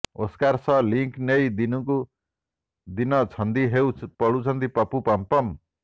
Oscar ସହ link ନେଇ ଦିନକୁ ଦିନ ଛନ୍ଦି ହୋଉ ପଡୁଛନ୍ତି ପପୁ ପମପମ୍